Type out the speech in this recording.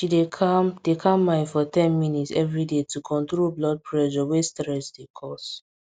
she dey calm dey calm mind for ten minutes every day to control blood pressure wey stress dey cause